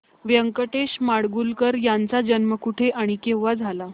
व्यंकटेश माडगूळकर यांचा जन्म कुठे आणि केव्हा झाला